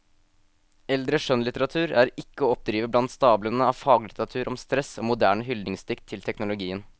Eldre skjønnlitteratur er ikke å oppdrive blant stablene av faglitteratur om stress og moderne hyldningsdikt til teknologien.